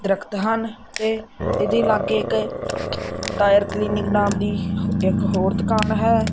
ਦਰਖਤ ਹਨ ਤੇ ਇਹਦੇ ਲਾਗੇ ਇੱਕ ਟਾਇਰ ਕਲੀਨਿਕ ਨਾਮ ਦੀ ਇੱਕ ਹੋਰ ਦੁਕਾਨ ਹੈ।